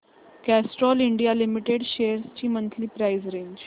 Castrol India limited shares ची monthly price range